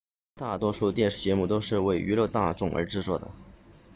大多数电视节目都是为娱乐大众而制作的